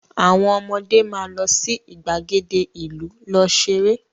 Àwọn ọmọde máa lọ sí ìgbàgede ìlú lọ ṣeré